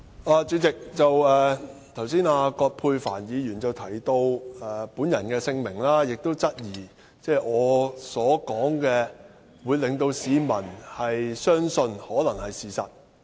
代理主席，葛珮帆議員剛才提到我的姓名，並質疑市民可能會相信我所說的話是事實。